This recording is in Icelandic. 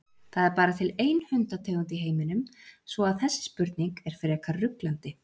Það er bara til ein hundategund í heiminum svo að þessi spurning er frekar ruglandi.